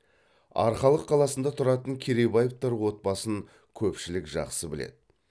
арқалық қаласында тұратын керейбаевтар отбасын көпшілік жақсы біледі